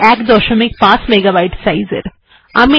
এটি প্রায় ১৫ এমবি সাইজের